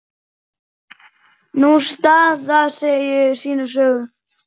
Sú staða segir sína sögu.